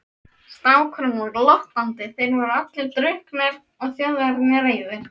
Strákurinn var glottandi, þeir voru allir drukknir og Þjóðverjarnir reiðir.